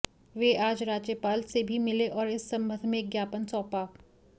वे आज राज्यपाल से भी मिले और इस संबंध में एक ज्ञापन सौंपा